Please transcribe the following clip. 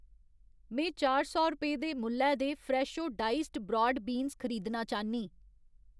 में चार सौ रपेऽ दे मुल्लै दे फ्रैशो डाइस्ड ब्राड बीन्स खरीदना चाह्न्नीं।